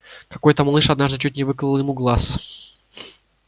какой то малыш однажды чуть не выколол ему глаз